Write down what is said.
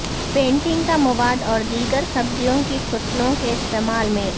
painting کا مواد اور دیگر سبزیوں کی فصلوں کے استعمال میں